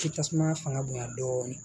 K'i tasuma fanga bonyan dɔɔnin